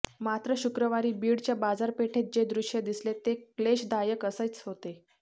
मात्र शुक्रवारी बीडच्या बाजारपेठेत जे दृश्य दिसले ते क्लेशदायक असेच होते